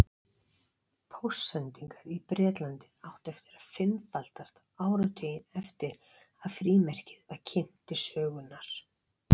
Póstsendingar í Bretlandi áttu eftir að fimmfaldast áratuginn eftir að frímerkið var kynnt til sögunnar.